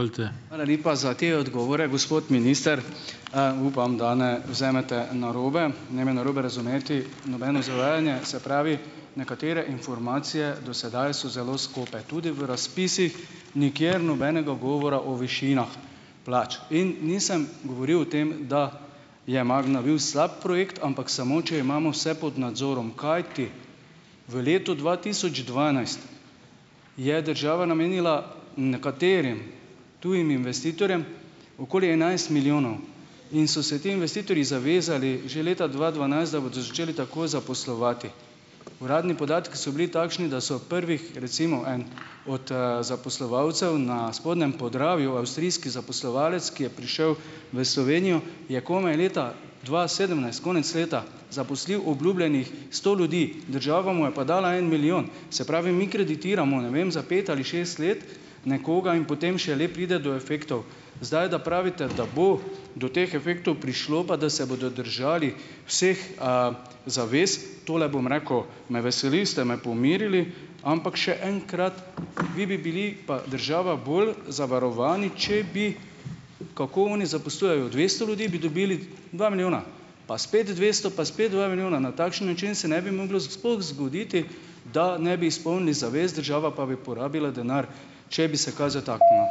Hvala lepa za te odgovore, gospod minister. Upam, da ne vzamete narobe. Ne me narobe razumeti, nobeno zavajanje. Se pravi, nekatere informacije do sedaj so zelo skope, tudi v razpisih nikjer nobenega govora o višinah plač in nisem govoril o tem, da je Magna bil slab projekt, ampak samo če imamo vse pod nadzorom, kajti v letu dva tisoč dvanajst je država namenila nekaterim tujim investitorjem okoli enajst milijonov in so se ti investitorji zavezali že leta dva dvanajst, da bodo začeli takoj zaposlovati. Uradni podatki so bili takšni, da so prvih, recimo en od, zaposlovalcev na spodnjem Podravju avstrijski zaposlovalec, ki je prišel v Slovenijo, je komaj leta dva sedemnajst, konec leta, zaposlil obljubljenih sto ljudi, država mu je pa dala en milijon. Se pravi, mi kreditiramo, ne vem, za pet ali šest let nekoga in potem šele pride do efektov. Zdaj, da pravite, da bo do teh efektov prišlo, pa da se bodo držali vseh, zavez, tole bom rekel, me veseli, ste me pomirili, ampak še enkrat, vi bi bili pa država bolj zavarovani, če bi, kako oni zaposlujejo dvesto ljudi, bi dobili dva milijona, pa spet dvesto, pa spet dva milijona. Na takšen način se ne bi moglo sploh zgoditi, da ne bi izpolnili zavez, država pa bi porabila denar, če bi se kaj zataknilo.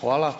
Hvala.